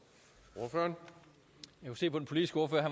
otte